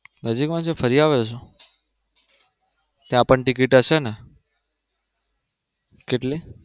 નજીક માં છે ફરી આવ્યા છો? ત્યાં પણ ટિકિટ હશે ને? કેટલી?